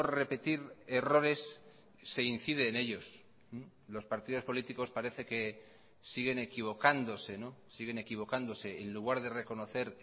repetir errores se incide en ellos los partidos políticos parece que siguen equivocándose siguen equivocándose en lugar de reconocer